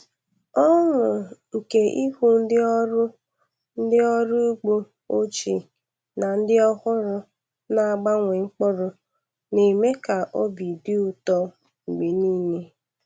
Ọṅụ nke ịhụ ndị ọrụ ndị ọrụ ugbo ochie na ndị ọhụrụ na-agbanwe mkpụrụ na-eme ka obi dị ụtọ mgbe niile.